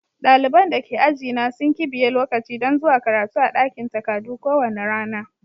Dalibain da ke aji na sun kibiye lokaci dan zuwa karatu a dakin takadu ko wani rana.